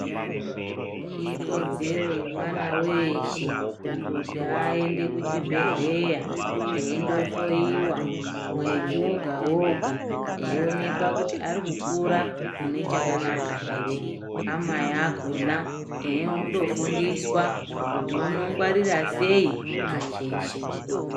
Ikodzero yemwana weeshe kuti aende kuchibhedhleya, eindo hloiwa mwedzi woga woga, eionekwa kuti ari kukura mune chaka chakanaka here, amai akhona eindofundiswa kuti unongwarira sei acheche.